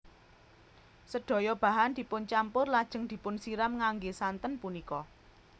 Sedaya bahan dipuncampur lajeng dipunsiram ngangge santen punika